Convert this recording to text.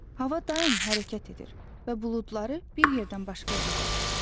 Hava daim hərəkət edir və buludları bir yerdən başqa yerə qovur.